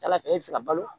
Ala fɛ e bɛ se ka balo